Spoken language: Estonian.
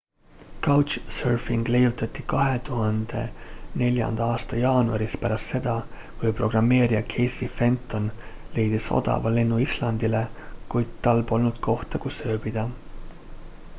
couchsurfing leiutati 2004 aasta jaanuaris pärast seda kui programmeerija casey fenton leidis odava lennu islandile kuid tal polnud kohta kus ööbida